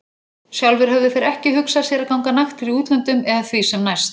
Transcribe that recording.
Sjálfir höfðu þeir ekki hugsað sér að ganga naktir í útlöndum eða því sem næst.